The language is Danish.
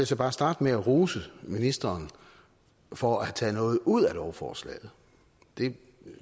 så bare starte med at rose ministeren for at have taget noget ud af lovforslaget det